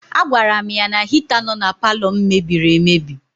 A gwara m ya na hita nọ na paalọ m mebiri emebi.